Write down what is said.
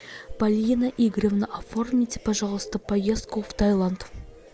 полина игоревна оформите пожалуйста поездку в тайланд